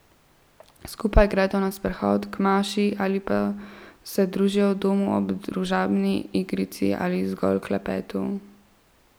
Skupaj gredo na sprehod, k maši ali pa se družijo v domu ob družabni igrici ali zgolj klepetu.